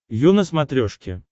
ю на смотрешке